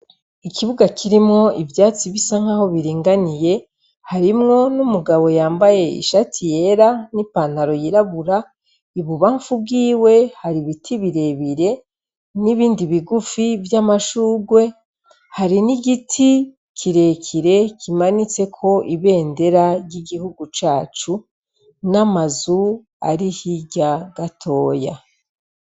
Ikibuga kirimwo ivyatsi bisa nkaho biringaniye, harimwo n'umugabo yambaye ishati yera n'ipantaro yirabura, Ibubamfu bwiwe hari ibiti birebire, n'ibindi bigufi vy'amashurwe, hari n'igiti kirekire kimanitseko ibendera ry'igihugu cacu, n'amazu ari hirya gatoya.